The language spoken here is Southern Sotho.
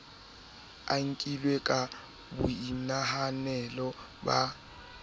a nkilwe ka boinahanelo ba